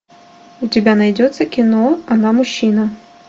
у тебя найдется кино она мужчина